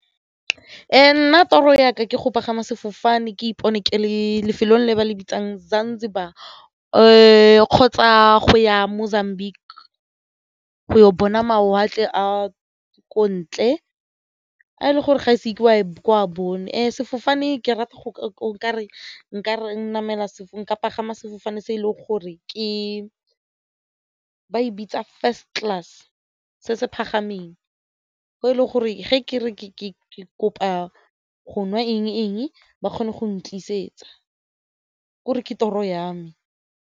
Nna toro ya ka ke go pagama sefofane ke ipone ke lefelong le ba le bitsang Zanzibar kgotsa go ya Mozambique go bona mawatle a ko ntle a e le gore ga ise ke wa bone sefofane ke rata go nka pagama sefofane se e leng gore ba e bitsa first class se se go e le gore ge ke re ke kopa go nwa eng-eng ba kgone go ntlisetsa ke'ore ke toro ya me.